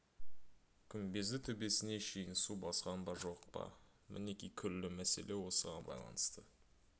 күмбезді төбесіне шейін су басқан ба жоқ па мінеки күллі мәселе осыған байланысты